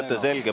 Mõte selge.